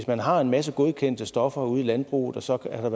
man har en masse godkendte stoffer ude i landbruget og så har